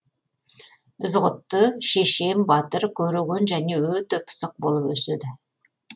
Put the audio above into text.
ізғұтты шешен батыр көреген және өте пысық болып өседі